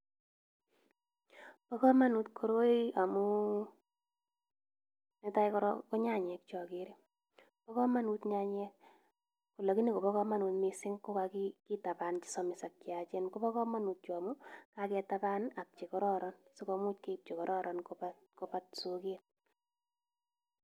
Bo kamanut koroi amu, netai korok ko nyanyek chagerei. Bo kamanut nyanyek, lakini kobo kamanut mising ko kagitaban che samis ak cheyachen. Koba kamanut chu amu kagetaban ak che kororon sikomuch keib che kororon koba koba soket.